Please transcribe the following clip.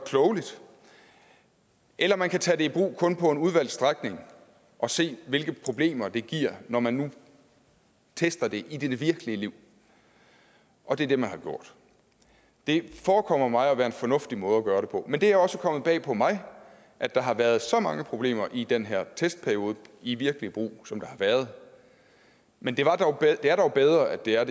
eller man kan tage det i brug kun på en udvalgt strækning og se hvilke problemer det giver når man nu tester det i det virkelige liv og det er det man har gjort det forekommer mig at være en fornuftig måde at gøre det på men det er også kommet bag på mig at der har været så mange problemer i den her testperiode i virkelig brug som der har været men det er dog bedre at det er